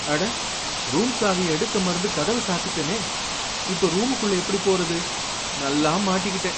அட! ரூம் சாவிய எடுக்க மறந்து கதவை சாத்திட்டேனே! இப்ப ரூமுக்குள்ள எப்படி போறது? நல்லா மாட்டிக்கிட்டேன்.